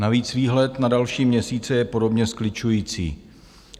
Navíc výhled na další měsíce je podobně skličující.